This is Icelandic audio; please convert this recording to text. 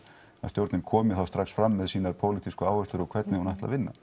stjórnin komi strax fram með sínar pólitísku áherslur og hvernig hún ætli að vinna